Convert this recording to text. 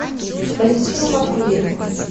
валентину матвеевну